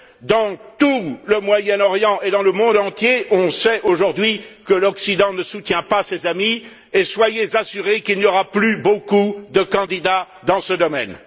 Dans tout le Moyen Orient et dans le monde entier, on sait aujourd'hui que l'Occident ne soutient pas ses amis et soyez assurés qu'il n'y aura plus beaucoup de candidats dans ce domaine.